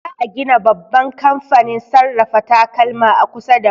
Za a gina babban kamfanin sarrafa takalma a kusa da mu.